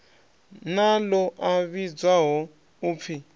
na ḽo a vhidzwaho upfi